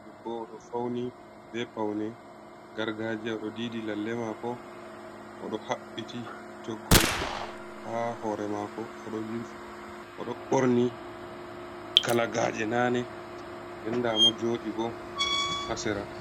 Ɗebbo oɗo fauni be paune gargaja. Oɗo ɗiiɗi lalle mako. Oɗo habbiti toggol ha hore mako. Oɗo borni kalagaje nane nɗen nɗamo joɗi bo ha sera.